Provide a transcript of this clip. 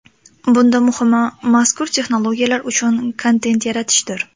Bunda muhimi, mazkur texnologiyalar uchun kontent yaratishdir.